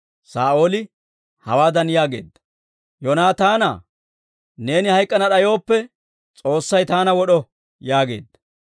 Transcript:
Saa'ooli hawaadan yaageedda; «Yoonaataanaa, neeni hayk'k'ana d'ayooppe, S'oossay taana wod'o!» yaageedda.